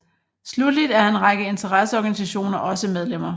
Slutteligt er en række interesseorganisationer også medlemmer